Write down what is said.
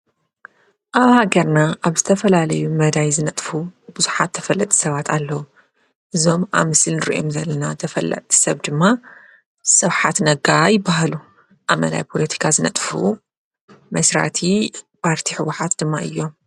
ኣብሃገርና ኣብ ዝተፈላለዩ መዳይ ዝነጥፉ ብዙኃት ተፈለጥ ሰባት ኣለዉ እዞም ኣምስል ርየም ዘለና ተፈላጥ ሰብ ድማ ሠውኃት ነጋ ኣይበሃሉ ኣመናይ ጶሎቲካ ዝነጥፍ መሥራቲ ፓርቲ ሕወኃት ድማ እዮም::